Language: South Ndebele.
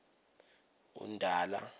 undala